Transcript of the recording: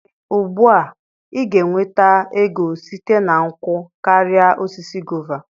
Ee ugbu a, ị ga-enweta ego site na nkwụ karịa osisi guava.